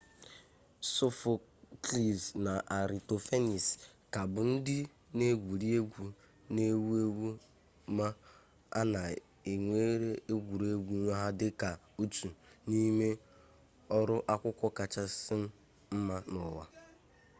sophocles na aristophanes ka bụ ndị na-egwuri egwu na-ewu ewu ma a na-ewere egwuru egwu ha dị ka otu n'ime ọrụ akwụkwọ kachasị mma n'ụwa